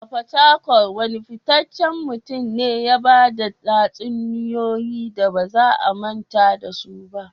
A fatakwal, wane fitaccen mutum ne ya ba da tatsuniyoyi da ba za a manta da su ba?